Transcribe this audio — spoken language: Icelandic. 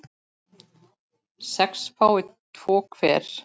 sex fái tvo hver